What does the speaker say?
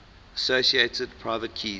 associated private keys